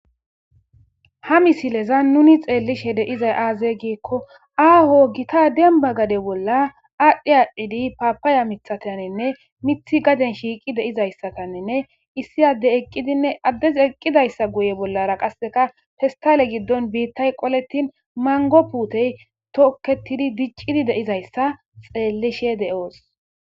Ha misileza nuni xeellishe deizay aaze giikko aaho gita demba gade bolla aadhdhi aadhdhidi paapaaya mithataninne mithi gaden shiiqi deizayssataninne issi adde eqqidinne addes eqqidayssa guye bollara qasseka festale giddon biittay qoletin mango puutey tokketidi diccidi deizayssa xeellishe de'oos.